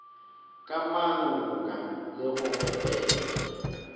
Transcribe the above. ka manga le go epega